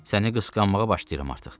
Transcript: Səni qısqanmağa başlayıram artıq.